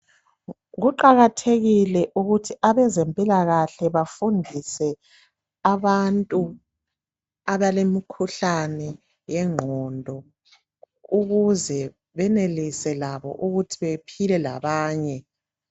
Kuqakathekile ukuthi abezempilakahle bafundise abantu abalemikhuhlane yengqondo ukuze benelise labo ukuthi bephile labanye.